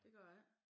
Det gør det ik